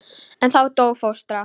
En þá dó fóstra.